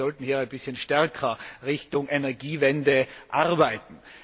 Wir sollten hier ein bisschen stärker Richtung Energiewende arbeiten.